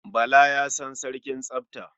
Bala ya san sarkin tsafta.